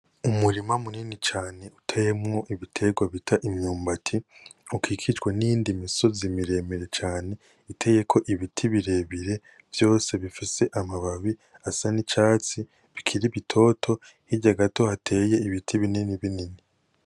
Umurima munini cane uteyemwo ibiterwa bita imyumbati ukikijwe niyindi misozi miremire cane iteyeko ibiti birebire vyose bifise amababi asa nicatsi bikiri bitoto hirya gato hateye ibiti binini binini